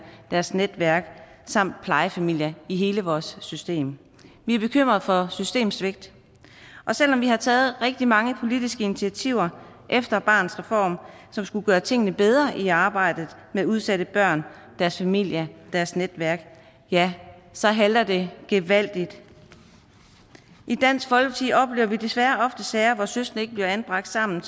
deres netværk samt plejefamilier i hele vores system vi er bekymret for systemsvigt og selv om vi har taget rigtig mange politiske initiativer efter barnets reform som skulle gøre tingene bedre i arbejdet med udsatte børn deres familie deres netværk ja så halter det gevaldigt i dansk folkeparti oplever vi desværre ofte sager hvor søskende ikke bliver anbragt sammen